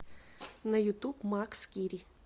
на ютуб мак скири